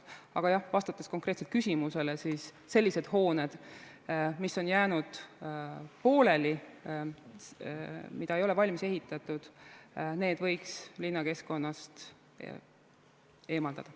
Aga jah, vastates konkreetselt küsimusele: sellised hooned, mis on jäänud pooleli, mida ei ole valmis ehitatud, võiks linnakeskkonnast eemaldada.